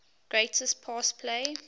greatest pass play